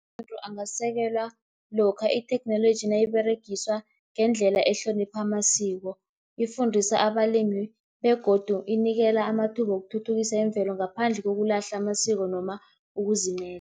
Amalimi angasekelwa lokha itheknoloji nayiberegiswa ngendlela ehlonipha amasiko, ifundisa abalimi begodu inikela amathuba wokuthuthukisa imvelo ngaphandle kokulahla amasiko noma